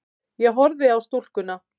Ég horfi á stúlkuna.